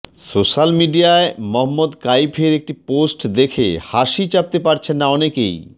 social মিডিয়ায় মহম্মদ কাইফের একটি পোস্ট দেখে হাসি চাপতে পারছেন না অনেকেই